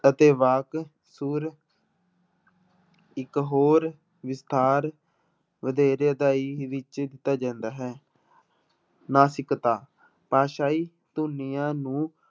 ਅਤੇ ਵਾਕ ਸੁਰ ਇੱਕ ਹੋਰ ਵਿਸਥਾਰ ਵਧੇਰੇ ਵਿੱਚ ਜਾਂਦਾ ਹੈ ਨਾਸਿਕਤਾ, ਭਾਸ਼ਾਈ ਧੁਨੀਆਂ ਨੂੰ